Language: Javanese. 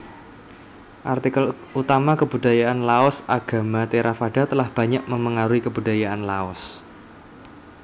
Artikel utama Kebudayaan LaosAgama Theravada telah banyak memengaruhi kebudayaan Laos